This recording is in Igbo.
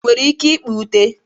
Ị nwere ike ịkpa ute?